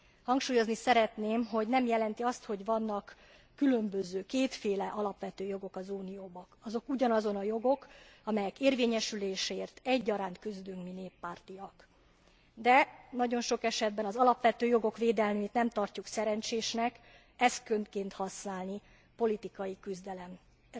Hangsúlyozni szeretném, hogy ez nem jelenti azt, hogy vannak különböző, kétféle alapvető jogok az Unióban, azok ugyanazok a jogok, amelyek érvényesüléséért egyaránt küzdünk mi néppártiak, de nagyon sok esetben az alapvető jogok védelmét nem tartjuk szerencsésnek eszközként használni, politikai küzdelmet